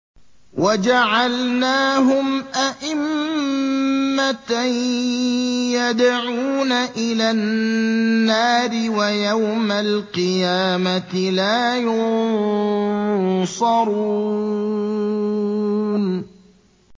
وَجَعَلْنَاهُمْ أَئِمَّةً يَدْعُونَ إِلَى النَّارِ ۖ وَيَوْمَ الْقِيَامَةِ لَا يُنصَرُونَ